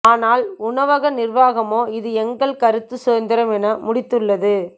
ஆனால் உணவக நிர்வாகமோ இது எங்கள் கருத்து சுதந்திரம் என முடித்துள்ளது